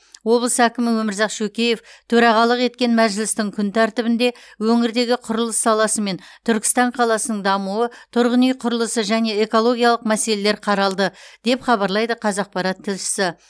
облыс әкімі өмірзақ шөкеев төрағалық еткен мәжілістің күн тәртібінде өңірдегі құрылыс саласы мен түркістан қаласының дамуы тұрғын үй құрылысы және экологиялық мәселелер қаралды деп хабарлайды қазақпарат тілшісі